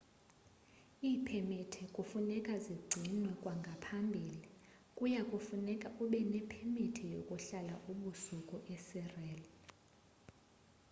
iipemiti kufuneka zigcinwe kwangaphambili kuya kufuneka ube nepemiti yokuhlala ubusuku esirena